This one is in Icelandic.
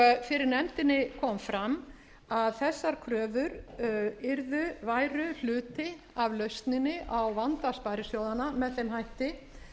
fyrir nefndinni kom fram að þessar kröfur væru hluti af lausninni á vanda sparisjóðanna með þeim hætti